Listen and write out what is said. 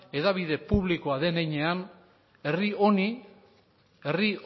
hedabide publikoa den heinean herri honi herri